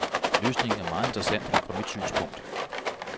Løsningen er meget interessant fra mit synspunkt.